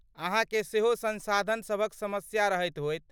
अहाँकेँ सेहो संसाधनसभक समस्या रहैत होयत।